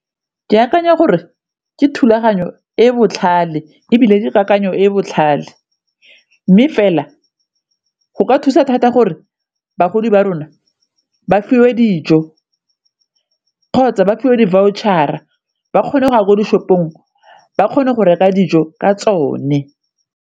Ke akanya gore ke thulaganyo e e botlhale ebile ke kakanyo e e botlhale, mme fela go ka thusa thata gore bagodi ba ba rona ba fiwe dijo kgotsa ba fiwe di-voucher-a ba kgone go ya ko di-shop-ong ba kgone go reka dijo ka tsone.